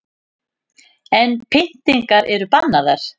En pyntingar eru bannaðar